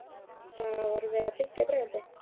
Þá var verið að byggja Breiðholtið.